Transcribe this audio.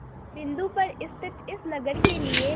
बिंदु पर स्थित इस नगर के लिए